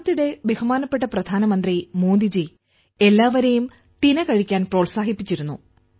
അടുത്തിടെ പ്രധാനമന്ത്രി മോദിജി എല്ലാവരേയും തിന കഴിക്കാൻ പ്രോത്സാഹിപ്പിച്ചിരുന്നു